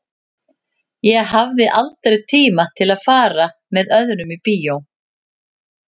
Ég hafði aldrei tíma til að fara með öðrum í bíó.